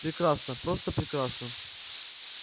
прекрасно просто прекрасно